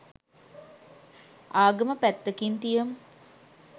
ආගම පැත්තකින් තියමු